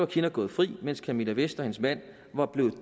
kinnock gået fri mens camilla vest og hendes mand var blevet